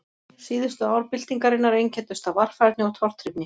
Síðustu ár byltingarinnar einkenndust af varfærni og tortryggni.